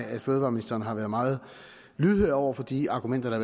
at fødevareministeren har været meget lydhør over for de argumenter